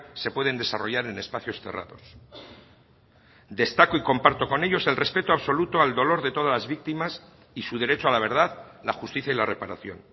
se pueden desarrollar en espacios cerrados destaco y comparto con ellos el respeto absoluto al dolor de todas las víctimas y su derecho a la verdad la justicia y la reparación